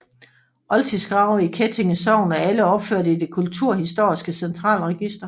Oldtidsgrave i Kettinge Sogn er alle opført i Det kulturhistoriske Centralregister